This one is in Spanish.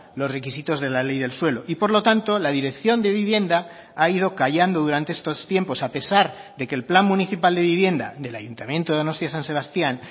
los requisitos de la ley del suelo y por lo tanto la dirección de vivienda ha ido callando durante estos tiempos a pesar de que el plan municipal de vivienda del ayuntamiento de donostia san sebastián